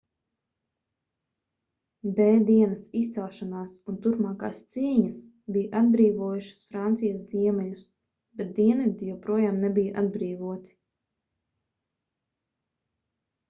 d-dienas izcelšanās un turpmākās cīņas bija atbrīvojušas francijas ziemeļus bet dienvidi joprojām nebija atbrīvoti